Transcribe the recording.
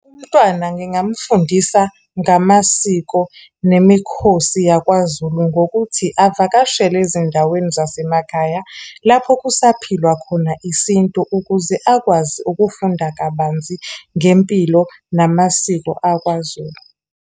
Umntwana ngingamfundisa ngamasiko, nemikhosi yakwaZulu, ngokuthi avakashele ezindaweni zasemakhaya. Lapho kusaphilwa khona iSintu, ukuze akwazi ukufunda kabanzi ngempilo namasiko akwaZulu.